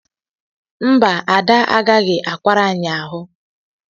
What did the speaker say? mba, Ada agaghị akwara anyị ahụ